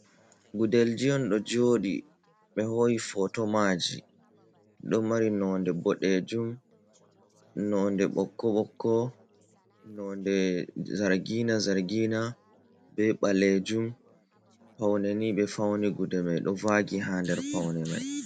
Gudelji on ɗo joɗi ɓe ho’i photo maji, ɗo mari nonde ɓoɗejum, nonde ɓokko-ɓokko, nonde zargina -zargina, be ɓalejum. Paune ni ɓe fauni gude mai ɗo vaagi haa der paune mai.